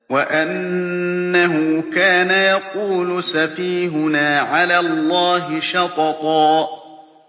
وَأَنَّهُ كَانَ يَقُولُ سَفِيهُنَا عَلَى اللَّهِ شَطَطًا